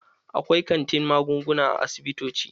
Akwai kantin magunguna a asibitoci.